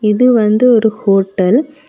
இது வந்து ஒரு ஹோட்டல் .